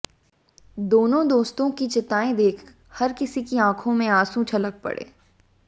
दोनों दोस्तों की चिताएं देख हर किसी की आंखों से आंसू छलक पड़े